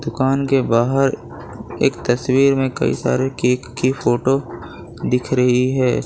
कान के बाहर एक तस्वीर में कई सारे केक की फोटो दिख रही है।